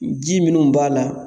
Ji minnu b'a la